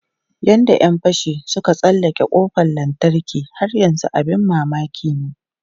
Yadda ‘yan fashin suka tsallake kofar lantarki har yanzu abin mamaki ne.